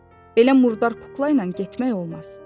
Belə murdar kukla ilə getmək olmaz.